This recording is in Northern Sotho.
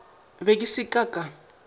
be ke sa ka ka